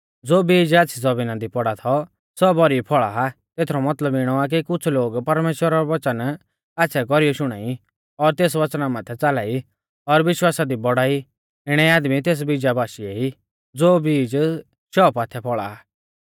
ज़ो बीज आच़्छ़ी ज़मीना दी पौड़ौ थौ सौ भौरी फौल़ा तेथरौ मतलब इणौ आ कि कुछ़ लोग परमेश्‍वरा रौ वच़न आच़्छ़ै कौरीऐ शुणाई और तेस वच़ना माथै च़ाला ई और विश्वासा दी बौड़ाई इणै आदमी तेस बीजा बाशीऐ ई ज़ो बीज शौ पाथै फौल़ा आ